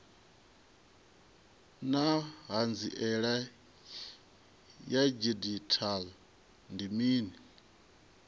naa hanziela ya didzhithala ndi mini